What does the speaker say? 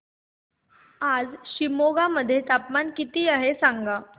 आज शिमोगा मध्ये तापमान किती आहे सांगा